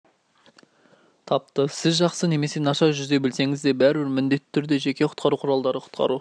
тапты сіз жақсы немесе нашар жүзе білсеңіз де бәрібір міндетті түрде жеке құтқару құралдары құтқару